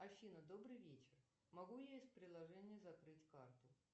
афина добрый вечер могу я из приложения закрыть карту